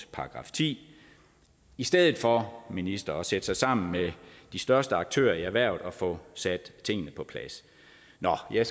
§ ti i stedet for at ministeren sætter sig sammen med de største aktører i erhvervet og får sat tingene på plads nå jeg